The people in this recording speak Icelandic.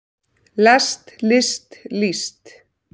lest list líst